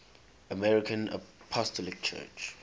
armenian apostolic church